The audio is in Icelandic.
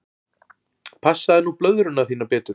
Passaðu nú blöðruna þína betur.